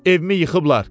Evimi yıxıblar!